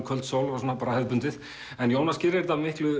kvöldsól bara hefðbundið en Jónas gerir þetta miklu